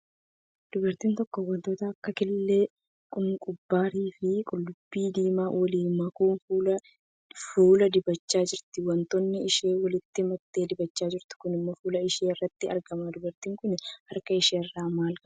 Dubartiin tokko wantoota akka killee, kunkumbarii, fi qullubbii diimaa waliin makuun fuula dibachaa jirti. Wantoonni isheen walitti maktee dibachaa jirtu kun fuula ishee irrattti argama. Dubartiin kun harka ishee irraa maal qabdi?